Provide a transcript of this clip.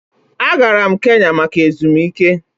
Agara m Kenya maka ezumike